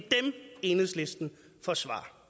enhedslisten forsvarer